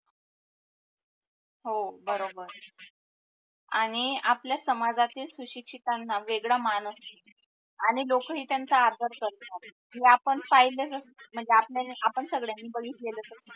हो बरोबर. आणि आपल्या समाजातील सुशिक्षितांना वेगडा मान असतो आणि लोक ही त्यानंचा आदर करतो, हे आपण पाहिल असत म्हणजे आपण संगड्यांणी बगीतलेलच असते